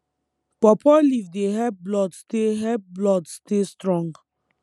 pawpaw leaf dey help blood stay help blood stay strong